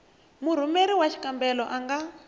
murhumeri wa xikombelo a nga